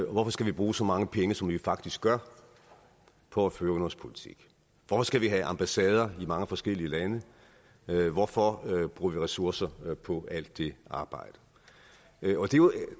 og hvorfor skal vi bruge så mange penge som vi faktisk gør på at føre udenrigspolitik hvorfor skal vi have ambassader i mange forskellige lande hvorfor bruger vi ressourcer på alt det arbejde